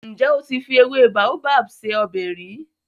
Ǹjẹ́ o ti fi ewé Baobab se ọbẹ̀ rí?